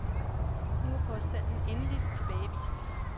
Nu er påstanden endeligt tilbagevist.